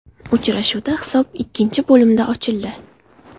Uchrashuvda hisob ikkinchi bo‘limda ochildi.